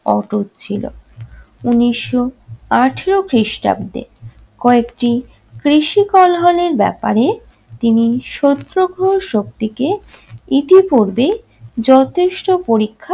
অটুট ছিল। উনিশশো আঠারো খ্রিস্টাব্দে কয়েকটি কৃষি কলহলের ব্যাপারে তিনি সত্যগ্রহ শক্তিকে ইতিপূর্বে যথেষ্ট পরীক্ষা